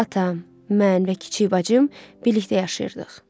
Atam, mən və kiçik bacım birlikdə yaşayırdıq.